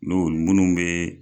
N'olu munu bɛ